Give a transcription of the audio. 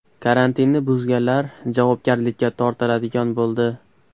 Karantinni buzganlar javobgarlikka tortiladigan bo‘ldi.